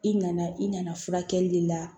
I nana i nana furakɛli de la